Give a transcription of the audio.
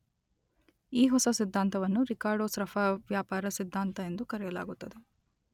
ಈ ಹೊಸ ಸಿದ್ಧಾಂತವನ್ನು ರಿಕಾರ್ಡೋ, ಸ್ರಫ್ಫಾ ವ್ಯಾಪಾರ ಸಿದ್ಧಾಂತ ಎಂದು ಕರೆಯಲಾಗುತ್ತದೆ.